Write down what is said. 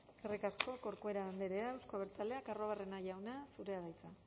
eskerrik asko corcuera andrea euzko abertzaleak arruabarrena jauna zurea da hitza